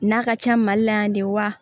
N'a ka ca mali la yan de wa